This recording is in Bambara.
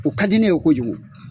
O ka di ne ye kojugu.